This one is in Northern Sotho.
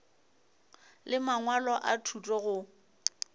le mangwalo a thuto go